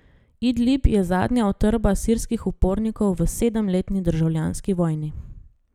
Idlib je zadnja utrdba sirskih upornikov v sedemletni državljanski vojni.